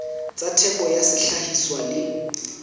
tsa theko ya sehlahiswa le